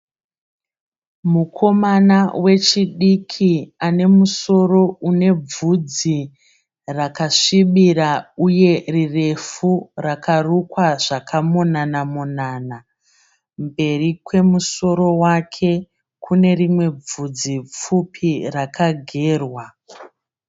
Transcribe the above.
Mukomana wechidiki anemusoro unevudzi rakasvibira uye rirefu rakarukwa zvakamonanamonana. Mberi kwemusoro wake kunerimwe vudzi pfupi rakagerwa.